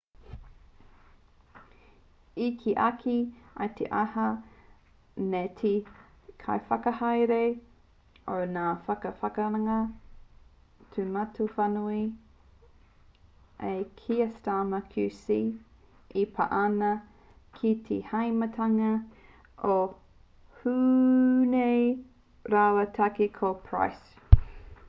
i kī ake i te ata nei te kaiwhakahaere o ngā whakawākanga tūmatawhānui a kier starmer qc e pā ana ki te hāmenetanga o huhne rāua tahi ko pryce